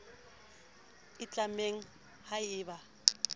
e tlamang ha e ba